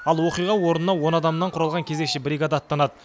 ал оқиға орнына он адамнан құралған кезекші бригада аттанады